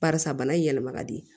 Barisa bana in yɛlɛma ka di